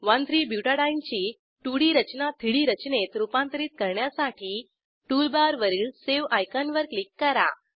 13 बुटाडीने ची 2डी रचना 3डी रचनेत रूपांतरित करण्यासाठी टूलबारवरील सावे आयकॉन वर क्लिक करा